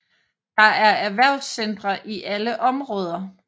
Der er erhvervscentre i alle områder